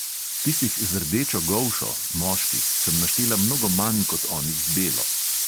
Tistih z rdečo golšo sem naštela mnogo manj kot onih z belo.